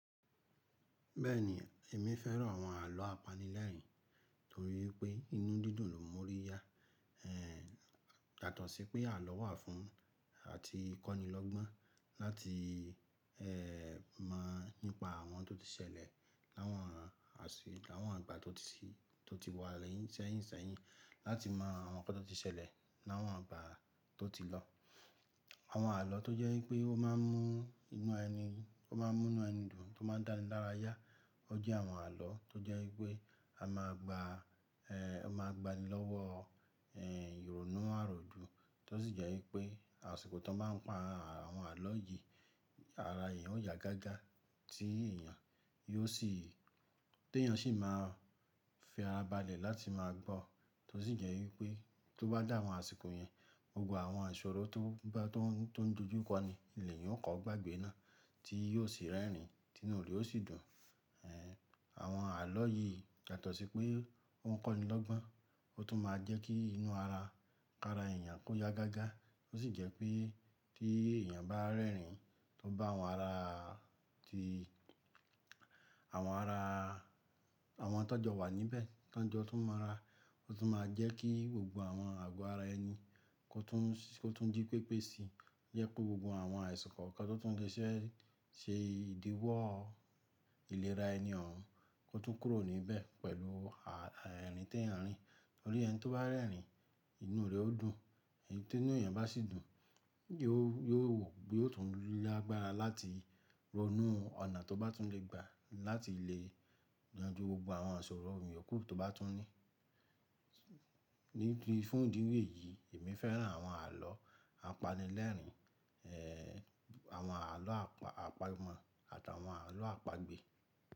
Bẹ́ẹ̀ni, èmi fẹ́ran àwọn àlọ́ apanilẹ́rìn-ín torí pé inú dídùn ló mú ọ́ rí yá. Ehn, yatọ̀ sí pé àlọ́ wà fún àti kọ́nilọ́gbọ́n láti, ehn, mọ̀ nípa àwọn tó ti ṣẹlẹ̀ láwọn àsìkò, láwọn ìgbà tó ti wà lẹ́yìn sẹ́yìn sẹ́yìn, láti mọ àwọn nǹkan tó ti ṣẹlẹ̀ láwọn ìgbà tó ti lọ. Àwọn àlọ́ tó jẹ́ wípé ó máa ń mú inú ẹni dùn tó máa ń dá ni lára yá. Ó jẹ́ àwọn àlọ́ tó jẹ́ wípé a máa gba, ehn, a máa gba ní lọ́wọ́, ehn, ìrònú àròdùn tí ó sì jẹ́ wípé àsìkò tó máa ń pa àwọn àlọ́ yìí, ara èèyàn ó ya gágá tí èèyàn yóò sì, tí èèyàn sì máa fi ara balẹ̀ láti máa gbọ́. Tó sì jẹ́ wípé tó bá dà àwọn àsìkò yẹn, gbogbo àwọn àṣọ̀rọ̀ tó bá tó ń dojú kọ ni ilẹ̀ yẹn ó kọ́ gbàgbé náà tí yóò sì rẹ́rìn-ín, tí inú rẹ̀ ò sì dùn. Ehn, àwọn àlọ́ yìí yàtọ̀ sí pé wọ́n kọ́nilọ́gbọ́n ó tún máa ń jẹ́ kí inú ara, ara èèyàn kó ya gágá. Ó sì jẹ́ pé tí èèyàn bá rẹ́rìn-ín tó bá àwọn ara tí àwọn ara, àwọn tọ́jọ́ wà níbẹ̀, tọ́jọ́ tún mọ́ra, ó tún máa jẹ́ kí gbogbo àwọn àgọ́ ara ẹni kó tún dí pépé sí yẹ pé gbogbo àwọn àsìkò kíkan tó tún lè ṣe ìdíwọ́ ìlera ẹni òun kó tún kúrò níbẹ̀ pẹ̀lú àrin tí èèyàn rín. Torí ẹni tó bá rẹ́rìn-ín inú rẹ̀ ó dùn, tí inú èèyàn bá sì dùn, yóò tún lágbára láti ronú ọ̀nà tó bá tún lè gba láti lè yanjú gbogbo àwọn ìṣọ̀rọ̀ ìyíókùn tó bá tún ní. Níbi fún ìdí wé yìí, èmi fẹ́ran àwọn àlọ́ apanilẹ́rìn-ín, ehn, àwọn àlọ́ àpagbọn àti àwọn àlọ́ àpagbè.